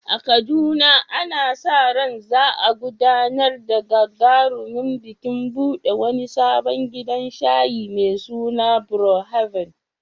A Kaduna, ana sa ran za a gudanar da gagarumin bikin buɗe wani sabon gidan shayi mai suna Brew Haven.